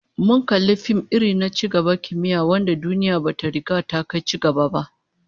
Mun kalli fim irin na ci gaban kimiyya wanda duniya bata riga ta kai cigaban ba